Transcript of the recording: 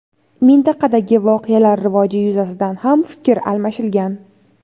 Mintaqadagi voqealar rivoji yuzasidan ham fikr almashilgan.